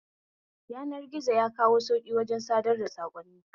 Yanar gizo yakawo sauƙi wajen sadar da saƙonni